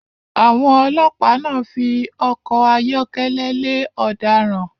Àwọn ọlọ́pa náà fi ọkọ̀ ayọ́kẹ́lẹ̀ lè ọ̀daràn